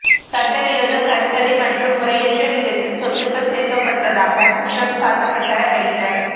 சட்டவிரோத கருத்தடை மற்றும் முறையற்ற விதத்தில் சொத்துக்கள் சேர்க்கப்பட்டதாக குற்றம் சாட்டப்பட்ட வைத்த